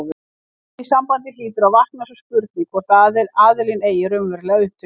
Í því sambandi hlýtur að vakna sú spurning, hvor aðilinn eigi raunverulega upptökin.